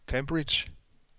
Cambridge